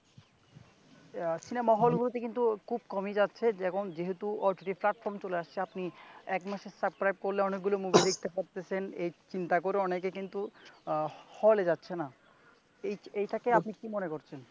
সিনামা হলগুলোতে কিন্তু খুব কমই যাচ্ছে, যখন, যেহেতু OTT platform আপনি এক মাসে subscribe করলে অনেকগুলো মুভি দেখতে পারতেছেন। এ চিন্তা করে অনেকে কিন্তু হলে যাচ্ছে নে। এই এটাকে আপনি কি মনে করতেছেন?